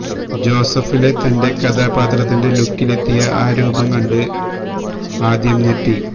ജോസഫിലെ തന്റെ കഥാപാത്രത്തിന്റെ ലുക്കിലെത്തിയ ആ രൂപം കണ്ട് ആദ്യം ഞെട്ടി